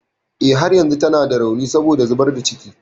Eh, har yanzu tana da rauni saboda zubar da ciki.